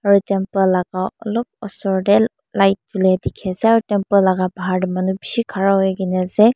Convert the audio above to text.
olop osor te light dekhi ase laga bahar te manu bishi dekhi bole pari ase.